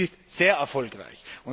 Es ist sehr erfolgreich!